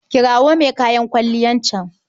Kirawo mai kayan kwalliyan can.